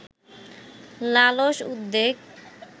লালস উদ্বেগ